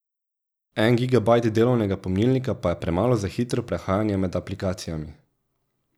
En gigabajt delovnega pomnilnika pa je premalo za hitro prehajanje med aplikacijami.